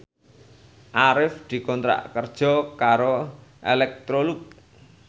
Arif dikontrak kerja karo Electrolux